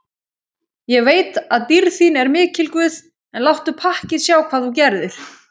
Ég veit að dýrð þín er mikil guð, en láttu pakkið sjá hvað þú gerðir.